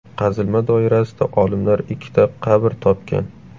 Qazilma doirasida olimlar ikkita qabr topgan.